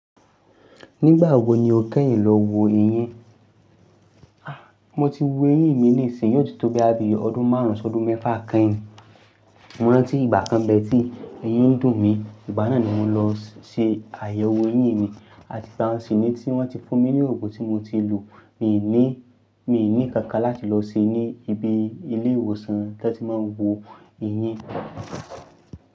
Nígbà wo ni o kẹ́yìn lọ wo eyín? Ah, mo ti wo eyín mi nísìyí yóò ti tó báyìí bí ọdún márùn-ún ṣọ ọdún mẹ́fà kẹ́yìn. Mo rántí ìgbà kan bẹ́ẹ̀ tí eyín dùn mí, ìgbà náà ni mo lọ ṣe àyẹ̀wò eyín mi àti bò ṣí ní tí wọ́n ti fún mi ní ògùn tí mo ti lo. Mi ní, mi ní kankan láti lọ ṣe ní ibi ilé ìwòsàn tí wọ́n ti máa ń wo eyín.